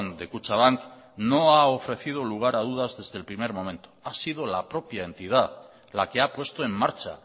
de kutxabank no ha ofrecido lugar a dudas desde el primer momento ha sido la propia entidad la que ha puesto en marcha